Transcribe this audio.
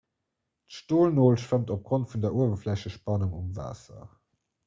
d'stolnol schwëmmt opgrond vun der uewerflächespannung um waasser